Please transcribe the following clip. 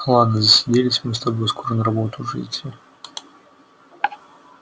ладно засиделись мы с тобой скоро на работу уже идти